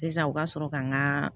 Sisan u ka sɔrɔ ka n ka